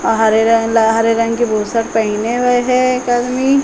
अ हरे रंग ला हरे की बुशर्ट पहने हुए एक आदमी।